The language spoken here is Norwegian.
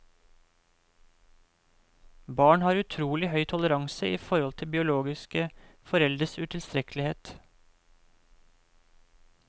Barn har utrolig høy toleranse i forhold til biologiske foreldres utilstrekkelighet.